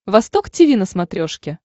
восток тиви на смотрешке